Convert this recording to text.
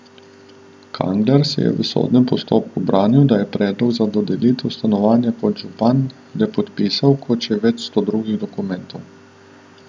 Kangler se je v sodnem postopku branil, da je predlog za dodelitev stanovanja kot župan le podpisal kot še več sto drugih dokumentov.